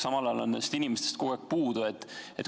Samal ajal on nendest inimestest kogu aeg puudu.